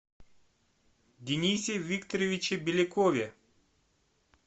денисе викторовиче белякове